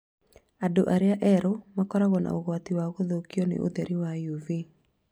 Andũ arĩa erũ makoragwo na ugwati wa gũthukio nĩ ũtheri wa UV